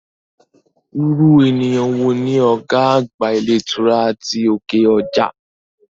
Irú ènìyàn wo ni ọ̀gá àgbà ilé ìtura ti òkè ọjà?